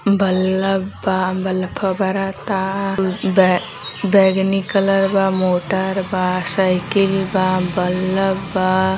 bulb बा ब्लफ बरता बेगनी कलर बा मोटर बा साइकिल बा बल्ब बा --